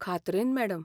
खात्रेन, madam